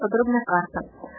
подробная карта